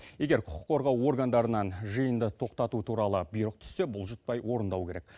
егер құқық қорғау органдарынан жиынды тоқтату туралы бұйрық түссе бұлжытпай орындау керек